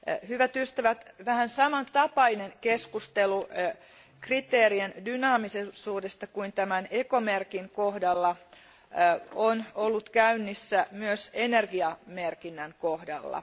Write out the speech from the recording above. Hyvät ystävät, vähän samantapainen keskustelu kriteerien dynaamisuudesta kuin tämän ekomerkin kohdalla on ollut käynnissä myös energiamerkinnän kohdalla.